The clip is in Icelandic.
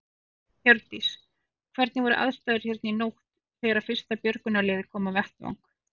Hjördís: Hvernig voru aðstæður hérna í nótt þegar að fyrsta björgunarlið kom á vettvang?